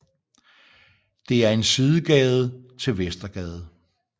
Det er en sidegade til Vestergade